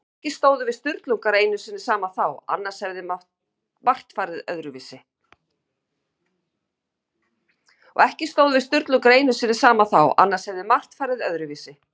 Og ekki stóðum við Sturlungar einu sinni saman þá, annars hefði margt farið öðruvísi.